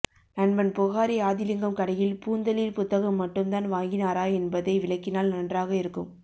நண்பன் புஹாரி ஆதிலிங்கம் கடையில் பூந்தளிர் புத்தகம் மட்டும்தான் வாங்கினாரா என்பதை விலக்கினால் நன்றாக இருக்கும்